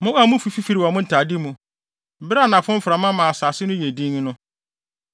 Mo a mufi fifiri wɔ mo ntade mu bere a anafo mframa ma asase no yɛ dinn no,